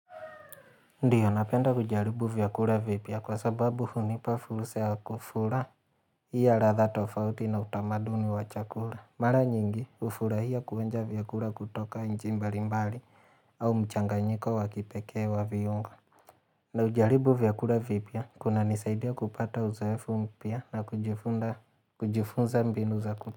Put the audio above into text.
Ndiyo, napenda kujaribu vyakura vipya kwa sababu hunipa fulsa kufura hiyo radha tofauti na utamaduni wa chakura. Mara nyingi, ufurahia kuonja vyakura kutoka nchi mbali mbali au mchanganyiko wakipekee wa viungo. Na ujaribu vyakura vipya, kuna nisaidia kupata uzoefu mpya na kujifunza mbinu za kutu.